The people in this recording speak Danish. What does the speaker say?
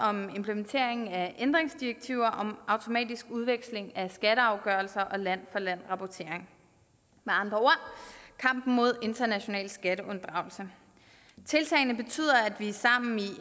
om implementering af ændringsdirektiver om automatisk udveksling af skatteafgørelser og land for land rapportering med andre ord kampen mod international skatteunddragelse tiltagene betyder at vi sammen